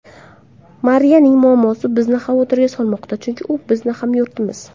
Mariyaning muammosi bizni xavotirga solmoqda, chunki u bizning hamyurtimiz.